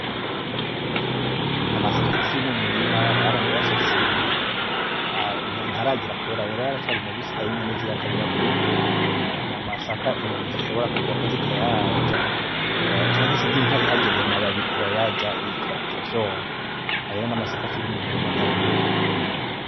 Amasaka akiri mu murima baranayasasiye ntaragera kwera, ayo rero aracari mabisi, ayo inyoni ziyakarira kubi. Ni amasaka inyoni zishobora kurwako zikayarya canke se nk'inka ihageze ayo mababi irayarya ikavyona. Ayo rero ni amasaka akiri mu murima atarera.